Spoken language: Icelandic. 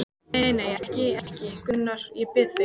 Nei, nei, ekki, ekki, Gunnar, ég bið þig.